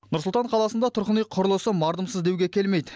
нұр сұлтан қаласында тұрғын үй құрылысы мардымсыз деуге келмейді